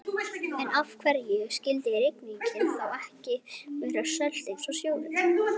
En af hverju skyldi rigningin þá ekki vera sölt eins og sjórinn?